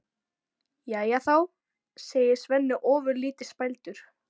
Jæja þá, segir Svenni ofurlítið spældur.